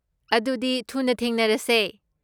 ꯑꯗꯨꯗꯤ ꯊꯨꯅ ꯊꯦꯡꯅꯔꯁꯦ!